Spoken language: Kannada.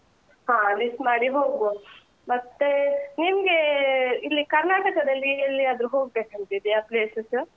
ಹಾ list ಮಾಡಿ ಹೋಗುವ ಮತ್ತೆ, ನಿಮ್ಗೆ ಇಲ್ಲಿ ಕರ್ನಾಟಕದಲ್ಲಿ ಎಲ್ಲಿಯಾದ್ರೂ ಹೋಗ್ಬೇಕಂತ ಇದ್ಯಾ places ?